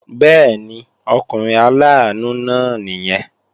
Bẹ́ẹ̀ni, ọkùnrin aláàánú náà nìyẹn